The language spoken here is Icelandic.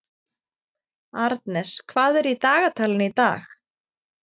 Arnes, hvað er í dagatalinu í dag?